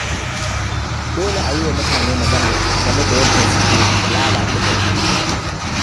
Dole a yi wa mutane magana game da yadda suke lalata gari.